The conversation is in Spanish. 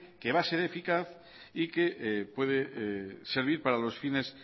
que va a ser eficaz y que puede servir para los fines